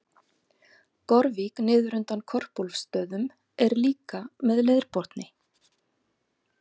Gorvík niður undan Korpúlfsstöðum er líka með leirbotni.